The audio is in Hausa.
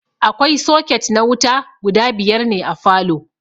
Akwai soket na wuta guda biyar ne a falow